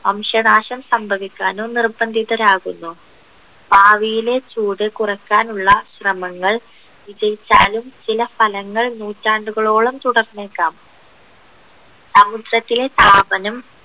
വംശനാശം സംഭവിക്കാനോ നിർബന്ധിതരാകുന്നു ഭാവിയിലെ ചൂട് കുറക്കാനുള്ള ശ്രമങ്ങൾ വിജയിച്ചാലും ചില സ്ഥലങ്ങൾ നൂറ്റാണ്ടുകളോളം തുടർന്നേക്കാം സമുദ്രത്തിലെ താപനം